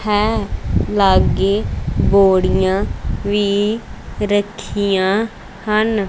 ਹੈਂ ਲਾਗੇ ਬੋੜੀਆਂ ਵੀ ਰੱਖੀਆਂ ਹਨ।